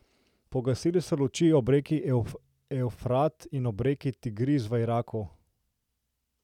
Pogasnile so luči ob reki Evfrat in ob reki Tigris v Iraku.